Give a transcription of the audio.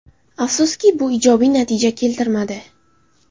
Afsuski, bu ijobiy natija keltirmadi.